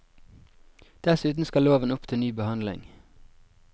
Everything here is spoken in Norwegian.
Dessuten skal loven opp til ny behandling.